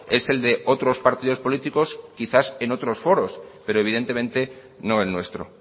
es el de otros partidos políticos quizás en otros foros pero evidentemente no el nuestro